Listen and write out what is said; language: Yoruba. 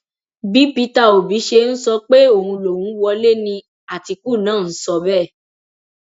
bí peter òbí ṣe ń sọ pé òun lòún wọlé ni àtìkù náà ń sọ bẹẹ